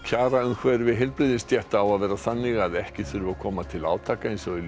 kjaraumhverfi heilbrigðisstétta á að vera þannig að ekki þurfi að koma til átaka eins og í